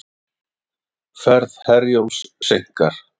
Ferð Herjólfs seinkar